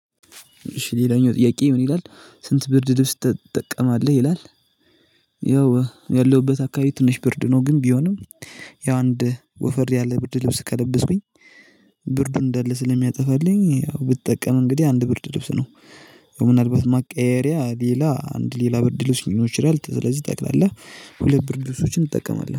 እሺ ሌላኛው ጥያቄ ምን ይላል ስንት ብርድ ልብስ ትጠቀማለህ ይላል? ያው ያለሁበት አካባቢ ትንሽ ብርድ ነው ግን ቢሆንም ያው አንድ ወፈር ያለ ብርድ ልብስ ከለበስኩኝ። ብርድ እንዳለ ስለሚያጠፋልኝ ያው ብጠቀም እንግዲህ አንድ ብርድ ልብስ ነው። ያው ምናልባት ማቀየየሪያ ሌላ አንድ ሌላ ብርድ ልኖር ይችላል ስለዚህ ጠቅላላ ሁለት ብርድልሶችን እንጠቀማለን